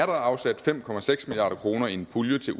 afsat fem milliard kroner i en pulje til